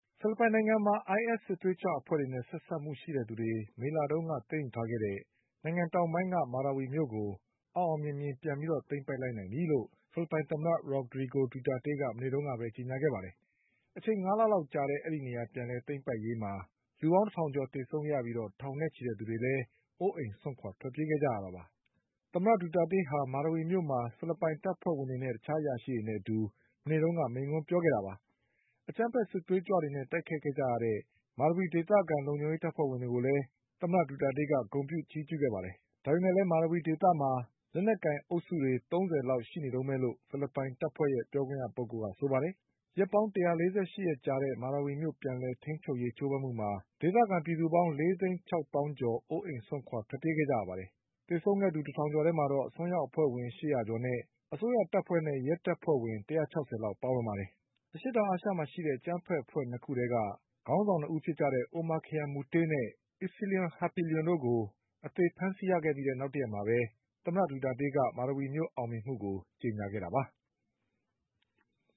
ဖိလစ်ပိုင်နိုင်ငံမှာ ISစစ်သွေးကြွ အဖွဲ့နဲ့ ဆက်စပ်မှုရှိတဲ့သူတွေ မေလတုန်းက သိမ်းယူထားတဲ့ နိုင်ငံတောင်ပိုင်းက မာရာဝီမြို့ကို အောင်အောင်မြင်မြင် ပြန် သိမ်းပိုက် လိုက်နိုင်ပြီလို့ ဖိလစ်ပိုင်သမ္မတ ရော့ဒရီဂို ဒူတာတေးက မနေ့ကဘဲ ကြေညာခဲ့ပါတယ်။ အချိန် ၅ လ လောက်ကြာတဲ့ ဒီနေရာပြန်လည် သိမ်းပိုက်ရေးမှာ လူပေါင်း တထောင်ကျော် သေဆုံးခဲ့ရပြီး ထောင်နဲ့ချီတဲ့ လူတွေလည်း အိုးအိမ်စွန့်ခွာ ထွက်ပြေးခဲ့ကြရတာပါ။ မာရာဝီမြို့မှာ သမ္မတဒူတာတေးက ဖိလစ်ပိုင်တပ်ဖွဲ့ဝင်တွေနဲ့ တခြားအရာရှိတွေနဲ့ အတူ မနေ့က မိန့်ခွန်းပြောခဲ့တာပါ။ အကြမ်းဖက် စစ်သွေးကြွတွေနဲ့ တိုက်ခိုက်ခဲ့ကြတဲ့ မာရာဝီဒေသ လုံခြုံရေး တပ်ဖွဲ့ဝင်တွေကိုလည်း သမ္မတဒူတာတေးက ဂုဏ်ပြုချီးကျူး ခဲ့ပါတယ်။ ဒါပေမယ့်လည်း မာရာဝီဒေသမှာ လက်နက်ကိုင် အုပ်စုတွေ ၃၀ လောက် ရှိနေတုန်းပဲလို့ဖိလစ်ပိုင်တပ်ဖွဲ့ ပြောခွင့်ရသူက ဆိုပါတယ်။ ရက်ပေါင်း ၁၄၈ ရက်ကြာတဲ့ မာရာဝီမြို့ပြန်လည်ထိန်းချုပ်ရေး ကြိုးပမ်းမှုမှာ ဒေသခံ ၄ သိန်း ၆ သောင်းကျော် အိုအိမ်စွန့်ခွာ ထွက်ပြေးခဲ့ကြရပါတယ်။ သေဆုံးသူ တထောင်ကျော်ထဲမှာတော့ အစွန်းရောက် အဖွဲ့ဝင် ၈၀၀ ကျော်နဲ့ အစိုးရတပ်ဖွဲ့နဲ့ ရဲတပ်ဖွဲ့ဝင် ၁၆၀ လောက် ပါဝင်ပါတယ်။ အရှေ့တောင်အာရှမှာ ရှိတဲ့ အကြမ်းဖက် အဖွဲ့ ၂ ခုက ခေါင်းဆောင်တွေ ဖြစ်တဲ့ Omarkhayam Maute နဲ့ Isnilon Hapilon တို့ကို အသေဖမ်းဆီး ရမိခဲ့ပြီးနောက် တရက်အကြာမှာပဲ သမ္မတ ဒူတာတေးက မာရာဝီမြို့အောင်ပွဲကို မနေ့က ကြေညာခဲ့တာပါ။